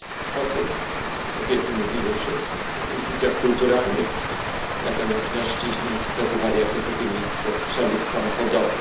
Potem kobiety mówiły, że w instytucjach kulturalnych, natomiast mężczyźni wskazywali jako drugie miejsce przemysł samochodowy.